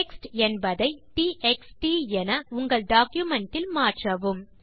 text என்பதை T X T என உங்கள் டாக்குமென்ட் இல் மாற்றவும்